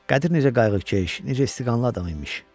Qədir necə qayğıkeş, necə istiqanlı adam imiş.